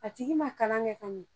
A tigi ma kalan kɛ ka ɲi